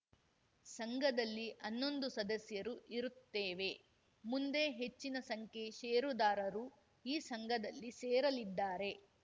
ಸಂಘದಲ್ಲಿ ಹನ್ನೊಂದು ಸದಸ್ಯರು ಇರುತ್ತೇವೆ ಮುಂದೆ ಹೆಚ್ಚಿನ ಸಂಖ್ಯೆ ಷೇರುದಾರರು ಈ ಸಂಘದಲ್ಲಿ ಸೇರಲಿದ್ದಾರೆ